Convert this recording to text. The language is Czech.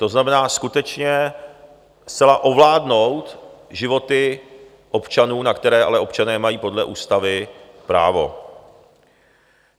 To znamená skutečně zcela ovládnout životy občanů, na které ale občané mají podle ústavy právo.